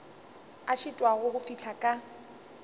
a šitwago go fihla ka